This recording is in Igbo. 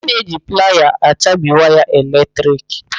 A na-eji playa achabi waya eletrik.